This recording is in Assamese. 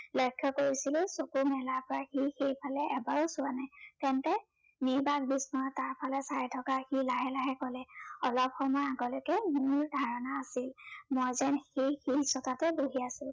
লক্ষ্য় কৰিছিলো, চকু মেলাৰ পৰা সি সেইফালে এবাৰো চোৱা নাই। তেন্তে নিৰ্বাক বিস্ময়েৰে তাৰফালে চাই থকাত সি লাহে লাহে কলে, অলপ সময়ৰ আগলৈকে মোৰ ধাৰণা আছিল, মই যেন সেই শিলচটাতে বহি আছো।